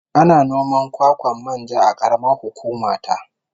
Ana noman kwakwan manja a karamar hukuma ta